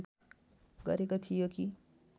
गरेको थियो कि